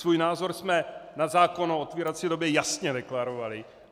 Svůj názor jsme na zákon o otvírací době jasně deklarovali.